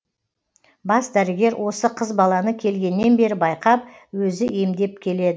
бас дәрігер осы қыз баланы келгеннен бері байқап өзі емдеп келеді